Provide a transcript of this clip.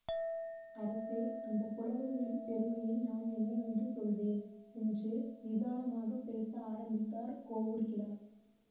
அரசே அந்த புலவர்களின் பெருமையை நான் என்னவென்று சொல்வேன் என்று நிதானமாகப் பேச ஆரம்பித்தார் கோவூர்கிழார்